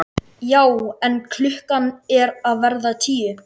Já en. klukkan er að verða tíu!